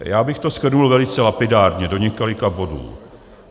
Já bych to shrnul velice lapidárně do několika bodů.